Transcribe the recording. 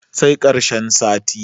sai karshen sati